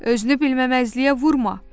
Özünü bilməməzliyə vurma!